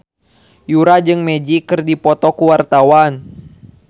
Yura jeung Magic keur dipoto ku wartawan